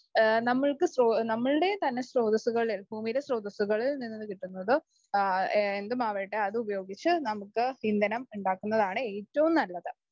നമ്മൾക്ക് നമ്മളുടെ തന്നെ സ്രോതസ്സ് ഭൂമിയിലെ സ്രോതസ്സുകളിൽ നിന്നു കിട്ടുന്നത് എന്തുമാകട്ടെ അത് ഉപയോഗിച്ച് നമുക്ക് ഇന്ധനം ഉണ്ടാക്കുന്നതാണ് ഏറ്റവും നല്ലത്.